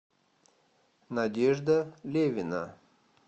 надежда левина